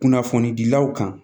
Kunnafonidilaw kan